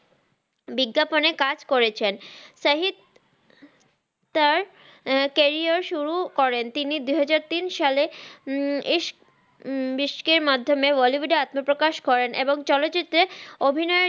বিজ্ঞাপন এ কাজ করেছেন সাহিদ তার ক্যারিয়ার সুরু করেন তিনি দুহাজার তিন সালে ইশক ভিশক এর লমাধমে ্িউড এ আত্মাপ্রাকাশ করেন